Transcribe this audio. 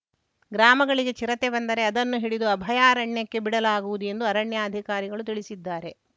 ಗ್ರಾಮಗಳಿಗೆ ಚಿರತೆ ಬಂದರೆ ಅದನ್ನು ಹಿಡಿದು ಅಭಯಾರಾಣ್ಯಕ್ಕೆ ಬಿಡಲಾಗುವುದು ಎಂದು ಅರಣ್ಯಾಧಿಕಾರಿಗಳು ತಿಳಿಸಿದ್ದಾರೆ